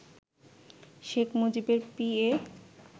শেখ মুজিবের পিএ